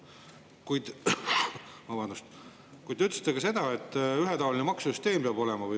Kuid te ütlesite ka seda, et valitsus ütles, et ühetaoline maksusüsteem peab olema.